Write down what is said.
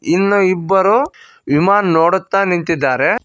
ಇನ್ನು ಇಬ್ಬರು ಇಮಾನ ನೋಡುತ್ತಾ ನಿಂತಿದಾರೆ.